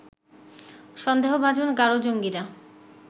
সন্দেহভাজন গারো জঙ্গীরা